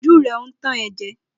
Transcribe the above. Ojú rẹ ò tàn ẹ́ jẹ.